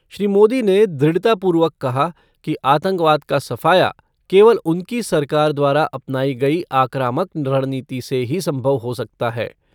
श्री मोदी ने दृढ़तापूर्वक कहा कि आतंकवाद का सफाया केवल उनकी सरकार द्वारा अपनाई गई आक्रामक रणनीति से ही संभव हो सकता है।